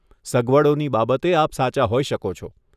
સગવડોની બાબતે આપ સાચા હોઈ શકો છો.